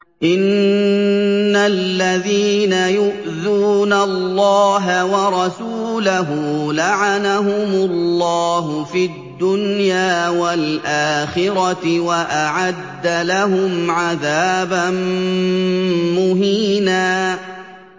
إِنَّ الَّذِينَ يُؤْذُونَ اللَّهَ وَرَسُولَهُ لَعَنَهُمُ اللَّهُ فِي الدُّنْيَا وَالْآخِرَةِ وَأَعَدَّ لَهُمْ عَذَابًا مُّهِينًا